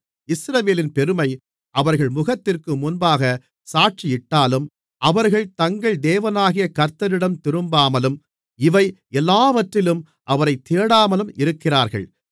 இஸ்ரவேலின் பெருமை அவர்கள் முகத்திற்கு முன்பாகச் சாட்சியிட்டாலும் அவர்கள் தங்கள் தேவனாகிய கர்த்தரிடம் திரும்பாமலும் இவை எல்லாவற்றிலும் அவரைத் தேடாமலும் இருக்கிறார்கள்